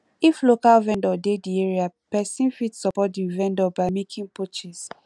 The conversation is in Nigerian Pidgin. if local vendor dey di area person fit support di vendor by making purchase